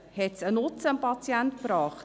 Brachte es dem Patienten einen Nutzen?